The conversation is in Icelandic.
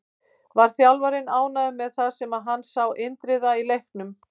Var þjálfarinn ánægður með það sem hann sá Indriða í leiknum?